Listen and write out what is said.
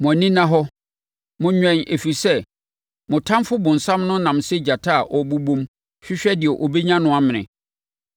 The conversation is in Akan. Mo ani nna hɔ; monwɛn ɛfiri sɛ, mo ɔtamfoɔ bonsam no nam sɛ gyata a ɔbobɔm hwehwɛ deɛ ɔbɛnya no amene.